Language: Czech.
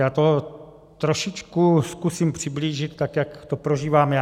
Já to trošičku zkusím přiblížit tak, jak to prožívám já.